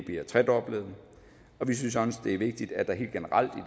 tredoblet vi synes at det er vigtigt at der helt generelt